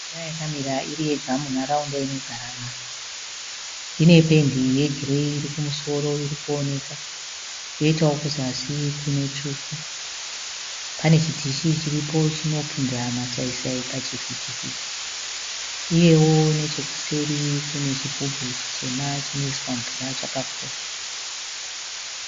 Imba yakamira iri yega munharaunda inogara vanhu. Ine pendi ye gireyi irikumusoro irikuoneka. Yoitawo kuzasi kune tsvuku. Pane chidhishi chiripo chinopinza masai sai pachivhiti vhiti. Uyewo nechekuseri kune chigubhu chitema chinoiswa mvura chakakura.